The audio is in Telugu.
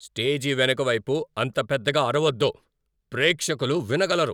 స్టేజి వెనుక వైపు అంత పెద్దగా అరవొద్దు. ప్రేక్షకులు వినగలరు.